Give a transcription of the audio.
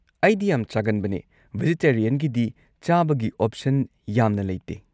ꯑꯩꯗꯤ ꯌꯥꯝ ꯆꯥꯒꯟꯕꯅꯦ, ꯕꯦꯖꯤꯇꯦꯔꯤꯌꯟꯒꯤꯗꯤ ꯆꯥꯕꯒꯤ ꯑꯣꯞꯁꯟ ꯌꯥꯝꯅ ꯂꯩꯇꯦ꯫